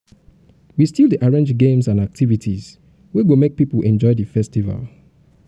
we still dey arrange games and activities wey go make pipo enjoy di festival.